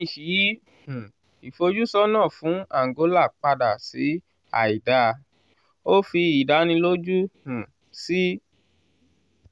fitch yí um ìfojúsọ́nà fún angola padà sí àìdáa; ó fi ìdánilójú um sí